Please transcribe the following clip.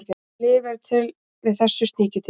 Lyf eru til við þessu sníkjudýri.